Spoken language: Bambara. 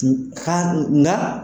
U ka nka.